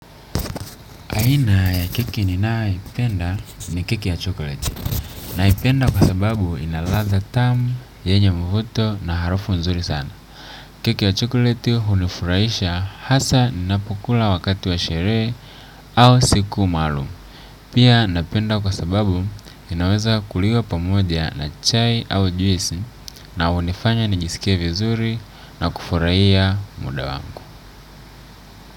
Aina ya keki ninayoipenda ni keki ya chocolate naipenda kwa sababu ina ladha tamu yenye mvuto na harufu nzuri sana keki ya chokleti hunifurahisha hasa ninapokula wakati wa sherehe au siku maalum pia napenda kwa sababu inaweza kuliwa pamoja na chai au juisi na hunifanya nijisikie vizuri na kufurahia muda wangu.